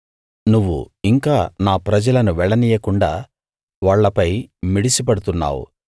నువ్వు ఇంకా నా ప్రజలను వెళ్ళనీయకుండా వాళ్ళపై మిడిసిపడుతున్నావు